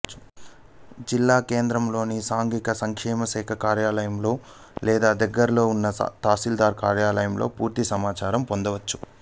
జిల్లా కేంద్రంలోని సాంఘిక సంక్షేమశాఖ కార్యాలయంలో లేదా దగ్గరలోని తహసీల్దార్ కార్యాలయంలో పూర్తి సమాచారం పొందవచ్చు